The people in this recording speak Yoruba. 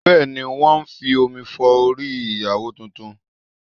Bẹ́ẹ̀ ni, wọn ń fi omi fọ orí ìyàwó tuntun